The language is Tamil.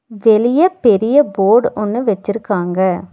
வெளிய பெரிய போடு ஒன்னு வெச்சுருக்காங்க.